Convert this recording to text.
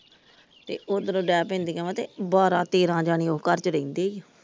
ਤੇ ਓਧਰੋਂ ਡੇਹ ਪੈਂਦੀਆਂ ਤੇ ਬਾਰਾਂ ਤੇਰਾ ਜਾਣੇ ਉਸ ਘਰ ਚ ਰਹਿੰਦੇ ਈ ।